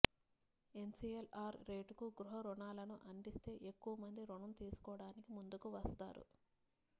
MCLR రేటుకు గృహ రుణాలను అందిస్తే ఎక్కువ మంది రుణం తీసుకోడానికి ముందుకువస్తారు